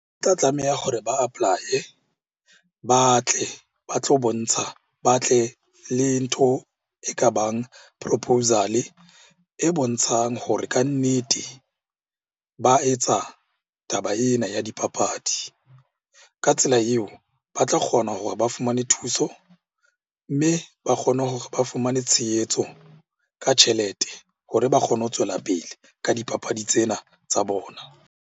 Ke tla tlameha hore ba apply-e, ba tle ba tlo bontsha, ba tle le ntho e ka bang proposal-e e bontshang hore kannete ba etsa taba ena ya dipapadi. Ka tsela eo, ba tlo kgona hore ba fumane thuso mme ba kgone hore ba fumane tshehetso ka tjhelete hore ba kgone ho tswela pele ka dipapadi tsena tsa bona.